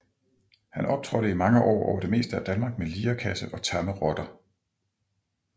Han optrådte i mange år over det meste af Danmark med lirekasse og tamme rotter